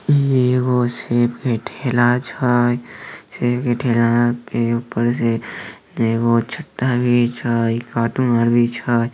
ए गो सेब के ठेला छै सेब के ठेला के ऊपर से एगो छाता भी छै काटून आर भी छै।